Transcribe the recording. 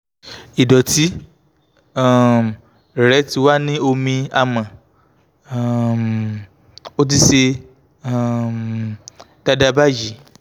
ìdọ̀tí um rẹ̀ ti wà ní omi àmọ́ um ó ti ṣe um dáadáa báyìí